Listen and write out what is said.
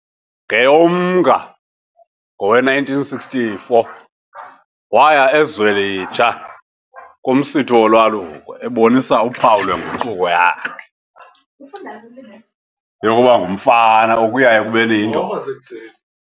NgeyoMnga ngowe-1964, waya eZwelitsha kumsitho wolwaluko, ebonisa uphawu lwenguquko yakhe yokuba ngumfana ukuya ekubeni yindoda.